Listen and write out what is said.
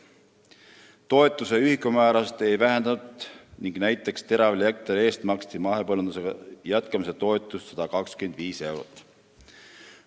Toetuse ühikumäärasid ei vähendatud ning näiteks teravilja hektari eest maksti mahepõllumajandusega jätkamise toetust 125 eurot.